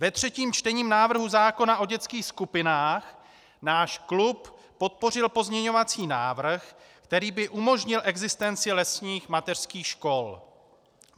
Ve třetím čtení návrhu zákona o dětských skupinách náš klub podpořil pozměňovací návrh, který by umožnil existenci lesních mateřských škol.